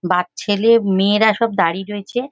বা ছেলে মেয়েরা সব দাঁড়িয়ে রয়েছে।